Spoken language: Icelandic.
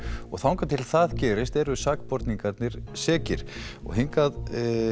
og þangað til gerist eru sakborningarnir sekir og hingað